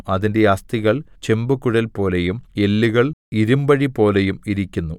അതിന്‍റെ അസ്ഥികൾ ചെമ്പുകുഴൽപോലെയും എല്ലുകൾ ഇരിമ്പഴിപോലെയും ഇരിക്കുന്നു